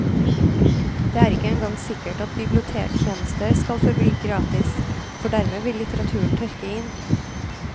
Det er ikke engang sikkert at bibliotektjenester skal forbli gratis, for dermed vil litteraturen tørke inn.